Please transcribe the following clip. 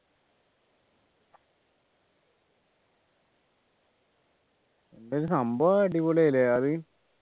എന്തായാലും സംഭവം അടിപൊളിയാ അല്ലെ അത്